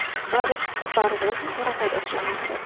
барлық барлығы осыны таратады осы жаңалықты